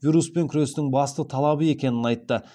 вируспен күрестің басты талабы екенін айтты